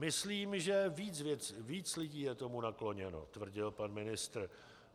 Myslím, že víc lidí je tomu nakloněno, tvrdí pan ministr.